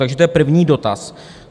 Takže to je první dotaz.